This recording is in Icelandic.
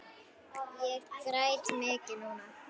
Ég græt mikið núna.